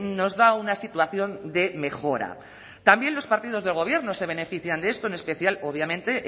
nos da una situación de mejora también los partidos del gobierno se benefician de esto en especial obviamente